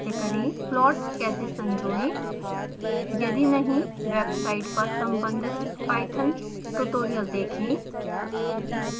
plot कैसे संजोएं